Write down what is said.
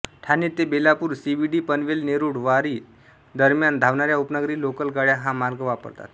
ठाणे ते बेलापूर सीबीडी पनवेल नेरुळ वाशी दरम्यान धावणाऱ्या उपनगरी लोकल गाड्या हा मार्ग वापरतात